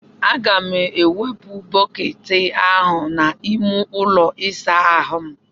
Aga m ga-ewepụ bọket ahụ n'ime ụlọ ịsa ahụ m.